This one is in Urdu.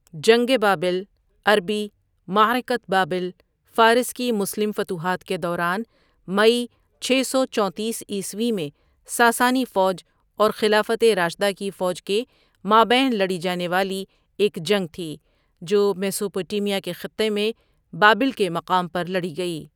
جنگ بابل عربی معركۃ بابل فارس کی مسلم فتوحات کے دوران مئی چھ سو چونتیس عیسوی میں ساسانی فوج اور خلافت راشدہ کی فوج کے مابین لڑی جانے والی ایک جنگ تھی جو میسوپوٹیمیا کے خطہ میں بابل کے مقام پر لڑی گئی.